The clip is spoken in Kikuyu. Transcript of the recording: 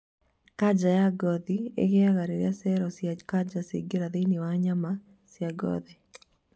kanja ya ngothi ĩgĩaga rĩrĩa cerocia kanja ciaingĩra thĩinĩ wa nyama cia ngothi.